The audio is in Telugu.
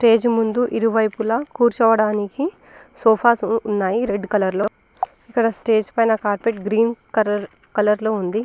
స్టేజి ముందు ఇరు వైపులా కూర్చోడానికి సోఫాస్ ఉం ఉన్నయి రెడ్ కలర్ లో ఈ స్టేజి పైన గ్రీన్ కరర్ కలర్ లో ఉంది.